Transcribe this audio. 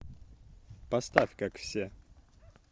поставь как все